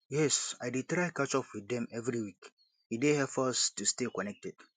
yes i dey try to catch up with dem every week e dey help us to stay connected